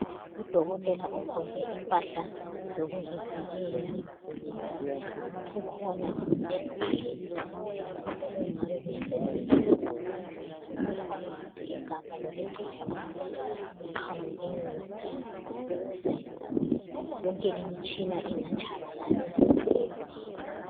Udokotela ugqoke impahla zokuzivikela, ukhona endlini lapho okungabe besenzela khona. Kukhona futhi igabha lokucitsha umlilo lapho kuqhamuke wona ukuze yonke limitshina ingatshabalali lomlilo.